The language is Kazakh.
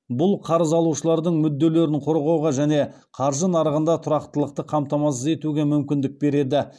бұл қарыз алушылардың мүдделерін қорғауға және қаржы нарығында тұрақтылықты қамтамасыз етуге мүмкіндік береді